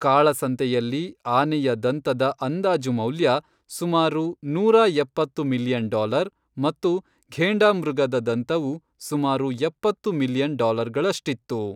ಕಾಳಸಂತೆಯಲ್ಲಿ ಆನೆಯ ದಂತದ ಅಂದಾಜು ಮೌಲ್ಯ ಸುಮಾರು ನೂರಾ ಎಪ್ಪತ್ತು ಮಿಲಿಯನ್ ಡಾಲರ್ ಮತ್ತು ಘೇಂಡಾಮೃಗದ ದಂತವು ಸುಮಾರು ಎಪ್ಪತ್ತು ಮಿಲಿಯನ್ ಡಾಲರ್ಗಳಷ್ಟಿತ್ತು .